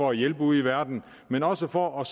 og hjælpe ude i verden men også for at